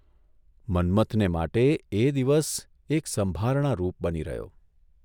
મન્મથને માટે એ દિવસ એક સંભારણા રૂપ બની રહ્યો.